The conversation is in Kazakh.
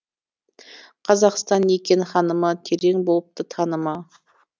қазақстан екен ханымы терең болыпты танымы